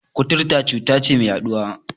Kuturta cuta ce mai yaɗuwa.